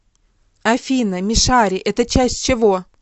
афина мишари это часть чего